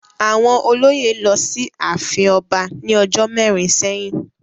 Àwọn olóyè lọ sí ààfin ọba ní ọjọ́ mẹ́rin sẹ́yìn.